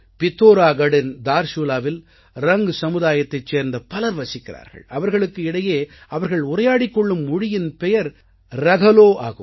பித்தோராகட்டின் தார்சூலாவில் ரங் சமுதாயத்தைச் சேர்ந்த பலர் வசிக்கிறார்கள் அவர்களுக்கு இடையே அவர்கள் உரையாடிக் கொள்ளும் மொழியின் பெயர் ரகலோ ஆகும்